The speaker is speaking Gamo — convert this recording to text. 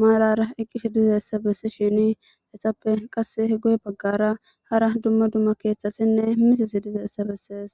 maalara iqqishe dizeessa bessi shini essappe qas hego7e baggara hara dumma dumma keeththasinne misisi dizeessa bessees